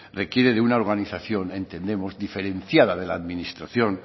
requiere de una organización entendemos diferenciada de la administración